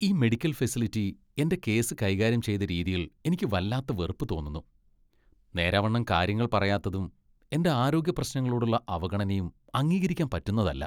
ഈ medical facility എന്റെ case കൈകാര്യം ചെയ്ത രീതിയിൽ എനിക്ക് വല്ലാത്ത വെറുപ്പ് തോന്നുന്നു. നേരാവണ്ണം കാര്യങ്ങൾ പറയാത്തതും എന്റെ ആരോഗ്യപ്രശ്നങ്ങളോടുള്ള അവഗണനയും അംഗീകരിക്കാൻ പറ്റുന്നതല്ല .